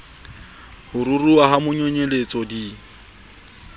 ho ruruha ha manonyeletso di